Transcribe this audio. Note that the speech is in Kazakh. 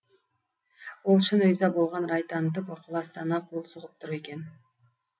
ол шын риза болған рай танытып ықыластана қол соғып тұр екен